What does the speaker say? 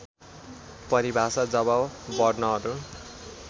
परिभाषा जब वर्णहरू